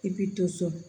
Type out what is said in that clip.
I bi to so